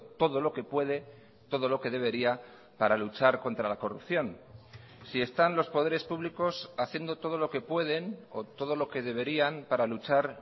todo lo que puede todo lo que debería para luchar contra la corrupción si están los poderes públicos haciendo todo lo que pueden o todo lo que deberían para luchar